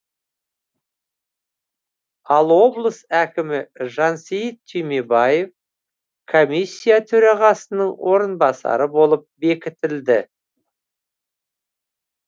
ал облыс әкімі жансейіт түймебаев комиссия төрағасының орынбасары болып бекітілді